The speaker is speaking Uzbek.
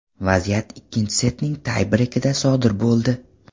Vaziyat ikkinchi setning tay breykida sodir bo‘ldi.